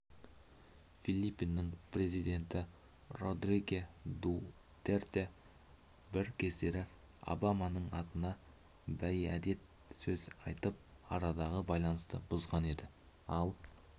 филиппиннің президенті родриге дутерте бір кездері обаманың атына бейәдет сөз айтып арадағы байланысты бұзған еді ал